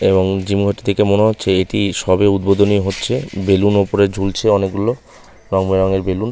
এবং জিম -এর ওটি দেখে মনে হচ্ছে এটি সবে উদ্বোধনী হচ্ছে বেলুন ওপরে ঝুলছে। অনেক রংবেরংয়ের বেলুন ।